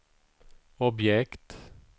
objekt